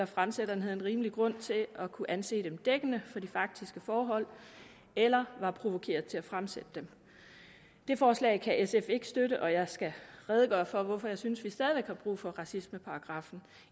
fremsætteren har rimelig grund til at kunne anse dem som dækkende for de faktiske forhold eller var provokeret til at fremsætte dem det forslag kan sf ikke støtte og jeg skal redegøre for hvorfor jeg synes vi stadig væk har brug for racismeparagraffen